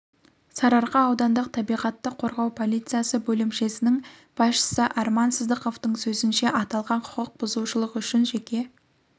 сарыарқа аудандық табиғатты қорғау полициясы бөлімшесінің басшысы арман сыздықовтың сөзінше аталған құқық бұзушылық үшін жеке